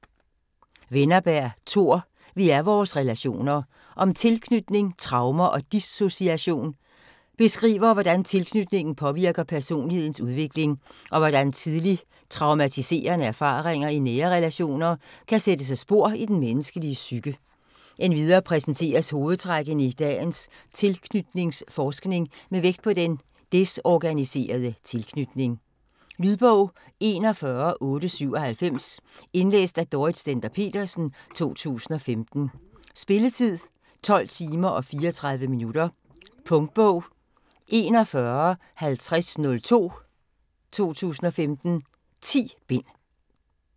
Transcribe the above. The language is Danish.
Wennerberg, Tor: Vi er vores relationer: om tilknytning, traumer og dissociation Beskriver hvordan tilknytning påvirker personlighedens udvikling, og hvordan tidlig traumatiserende erfaringer i nære relationer kan sætte sig spor i den menneskelige psyke. Endvidere præsenteres hovedtrækkene i dagens tilknytningsforskning med vægt på den desorganiserede tilknytning. Lydbog 41897 Indlæst af Dorrit Stender-Petersen, 2015. Spilletid: 12 timer, 34 minutter. Punktbog 415002 2015. 10 bind.